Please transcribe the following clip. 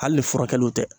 Hali ni furakɛliw tɛ